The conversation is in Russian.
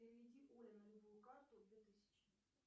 переведи оле на любую карту две тысячи